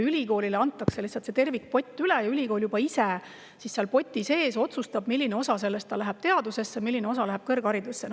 Ülikoolile antaks lihtsalt see tervikpott üle ja ülikool juba ise siis otsustaks, milline osa sellest läheb teadusesse ja milline osa läheb kõrgharidusse.